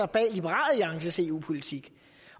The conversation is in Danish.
bag liberal alliances eu politik